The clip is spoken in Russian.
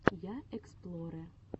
я эксплорэ